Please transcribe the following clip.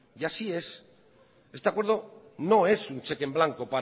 así es este acuerdo no es un cheque en blanco